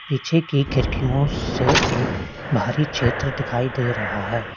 पीछे की खिड़कियों से एक बाहरी क्षेत्र दिखाई दे रहा है।